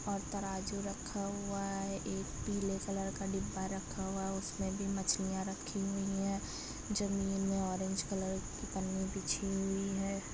और तराजु रखा हुआ है एक पीले कलर का डिब्बा रखा हुआ है उसमें भी मछलिया रखी हुई है जमीन में ऑरेंज कलर की पन्नी बिछी हुई है।